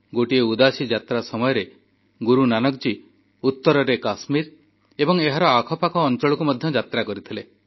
ଗୋଟିଏ ଉଦାସୀ ଯାତ୍ରା ସମୟରେ ଗୁରୁନାନକ ଜୀ ଉତରରେ କାଶ୍ମୀର ଏବଂ ଏହାର ଆଖପାଖ ଅଂଚଳକୁ ମଧ୍ୟ ଯାତ୍ରା କରିଥିଲେ